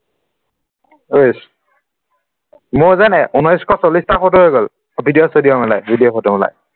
অইচ মোৰ যে ঊনৈশ চল্লিচটা photo হৈ গল video চিডিঅ মিলাই video photo মিলাই